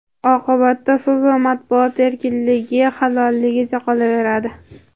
oqibatda so‘z va matbuot erkinligi xayolligicha qolaveradi.